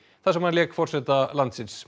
þar sem hann lék forseta landsins